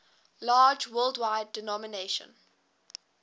large worldwide denomination